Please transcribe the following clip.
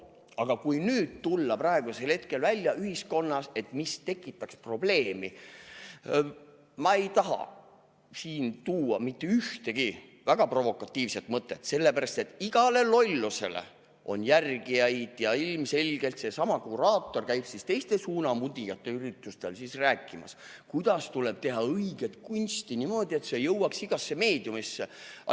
Aga kui tulla praegusel hetkel välja ühiskonnas, mis tekitaks probleemi – ma ei taha siin tuua mitte ühtegi väga provokatiivset mõtet, sellepärast et igale lollusele on järgijaid ja ilmselgelt seesama kuraator käiks teiste suunamudijate üritustel rääkimas, kuidas tuleb teha õiget kunsti niimoodi, et see jõuaks igasse meediumisse.